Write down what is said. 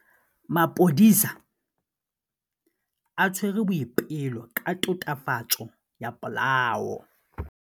Maphodisa a tshwere Boipelo ka tatofatsô ya polaô.